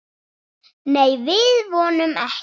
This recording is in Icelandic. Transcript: Nei, við vonum ekki.